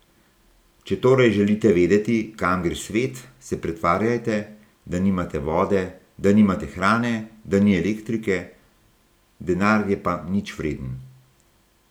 Če torej želite vedeti, kam gre svet, se pretvarjajte, da nimate vode, da nimate hrane, da ni elektrike, denar je pa ničvreden.